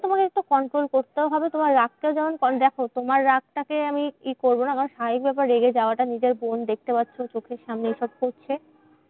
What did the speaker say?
একটু Control করতেও হবে তোমার রাগ টাও যেমন দেখো তোমার রাগ টাকে আমি কি করবো রে? আমি স্বাভাবিক ব্যাপার রেগে যাওয়াটা নিজের বোন দেখতে পারছো চোখের সামনে এসব করছে।